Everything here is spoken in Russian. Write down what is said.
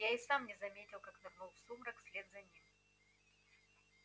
я и сам не заметил как нырнул в сумрак вслед за ним